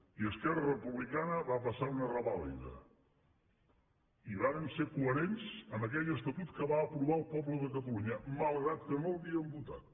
i esquerra republicana va passar una revàlida i vàrem ser coherents amb aquell estatut que va aprovar el poble de catalunya malgrat que no l’havíem votat